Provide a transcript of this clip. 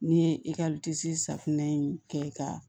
N'i ye i ka safunɛ in kɛ ka